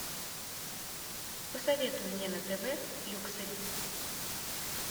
посоветуй мне на тв люксори